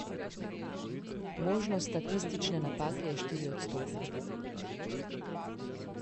Možnost statistične napake je štiriodstotna.